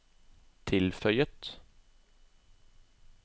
tilføyet